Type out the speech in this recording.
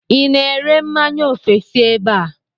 I na-ere mmanya ofesi ebe a?